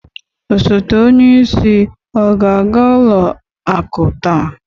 Osoto onyeisi ọ ga-aga ụlọ akụ taa?